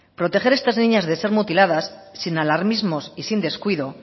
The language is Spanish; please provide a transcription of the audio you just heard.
proteger a estas niñas de ser mutiladas sin alarmismo y sin descuido